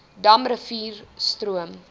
dam rivier stroom